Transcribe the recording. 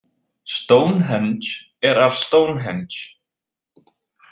Stonehenge er af Stonehenge.